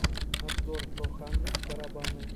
обзор про хандрид барабаны